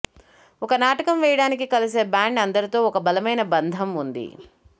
ఒక నాటకం వేయడానికి కలిసి బ్యాండ్ అందరితో ఒక బలమైన బంధం ఉంది